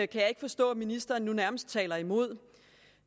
kan jeg ikke forstå at ministeren nu nærmest taler imod